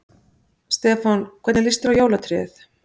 Stefán: Hvernig líst þér á jólatréð?